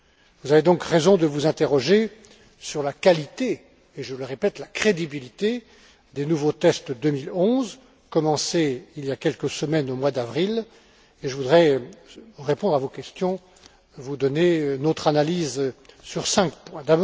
Vous avez donc raison de vous interroger sur la qualité et, je le répète, la crédibilité des nouveaux tests 2011, commencés il y a quelques semaines au mois d'avril, et je voudrais répondre à vos questions, vous donner notre analyse sur cinq points.